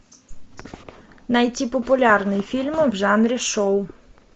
найти популярные фильмы в жанре шоу